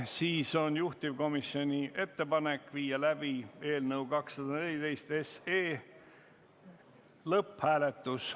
Siis on juhtivkomisjoni ettepanek viia läbi eelnõu 214 lõpphääletus.